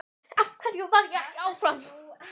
Af hverju varð ég ekki áfram?